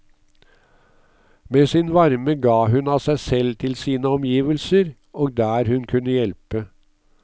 Med sin varme ga hun av seg selv til sine omgivelser, og der hun kunne hjelpe.